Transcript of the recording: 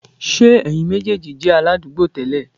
Ṣé ẹ̀yin méjèèjì jẹ́ aládùúgbò tẹ́lẹ̀?